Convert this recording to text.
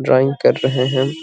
Drawing कर रहे हैं।